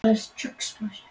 Ég varð að finna minn botn.